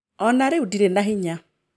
O na rĩu ndirĩ na hinya.